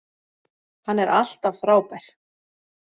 Hann er alltaf frábær.